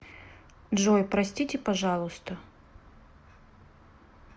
джой простите пожалуйста